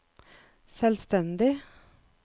selvstendig